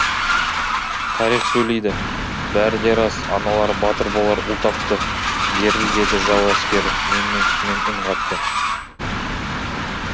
тарих сөйлейді бәрі де рас аналары батыр болар ұл тапты беріл деді жау әскері менменсумен үн қатты